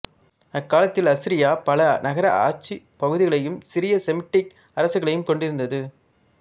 அக்காலத்தில் அசிரியா பல நகர ஆட்சிப் பகுதிகளையும் சிறிய செமிட்டிக் அரசுகளையும் கொண்டிருந்தது